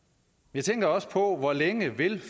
jeg tænker også på hvor længe